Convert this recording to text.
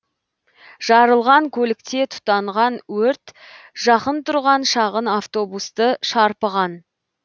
жарылған көлікте тұтанған өрт жақын тұрған шағын автобусты шарпыған